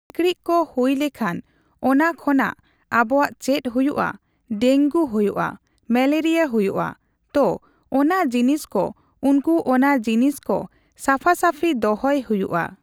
ᱥᱤᱠᱬᱤᱡ ᱠᱚ ᱦᱩᱭ ᱞᱮᱠᱷᱟᱱ ᱚᱱᱟ ᱠᱷᱚᱱᱟᱜ ᱟᱵᱚᱣᱟᱜ ᱪᱮᱫ ᱦᱩᱭᱩᱜᱼᱟ ᱰᱮᱝᱜᱩ ᱦᱩᱭᱩᱜᱼᱟ , ᱢᱮᱞᱮᱨᱤᱭᱟ ᱦᱩᱭᱩᱜᱼᱟ ᱛᱚ ᱚᱱᱟ ᱡᱤᱱᱤᱥ ᱠᱚ ᱩᱱᱠᱩ ᱚᱱᱟ ᱡᱤᱱᱤᱥ ᱠᱚ ᱥᱟᱯᱷᱟᱥᱟᱯᱷᱤ ᱫᱚᱦᱚᱭ ᱦᱩᱭᱩᱜᱼᱟ ᱾